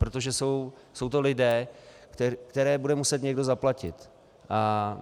Protože jsou to lidé, které bude muset někdo zaplatit.